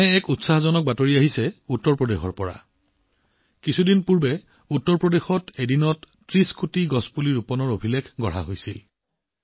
তেনে এটা উৎসাহজনক খবৰ উত্তৰপ্ৰদেশৰ পৰা আহিছে কিছুদিন আগতে উত্তৰ প্ৰদেশত এদিনতে ৩০ কোটি গছপুলি ৰোপণৰ অভিলেখ গঢ়িছে